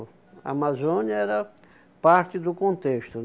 Amazônia era parte do contexto.